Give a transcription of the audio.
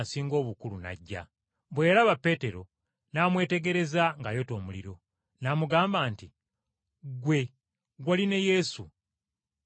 Bwe yalaba Peetero n’amwetegereza ng’ayota omuliro, n’amugamba nti, “Ggwe, wali ne Yesu, Omunnazaaleesi.”